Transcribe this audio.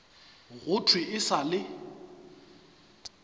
go thwe e sa le